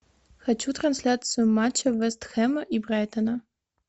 хочу трансляцию матча вест хэма и брайтона